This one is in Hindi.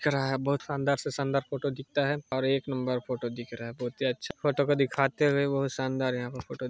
महक रहा है बहुत शानदार से शानदार फोटो दिखता है और एक नंबर फोटो दिख रहा है बहुत ही अच्छा फोटो को दीखते हुए बहुत शानदार यहाँ पर--